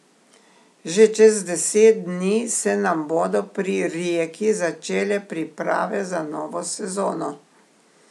Že čez deset dni se nam bodo pri Rijeki začele priprave za novo sezono.